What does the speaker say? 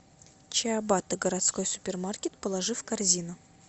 чиабатта городской супермаркет положи в корзину